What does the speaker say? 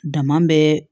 Dama bɛ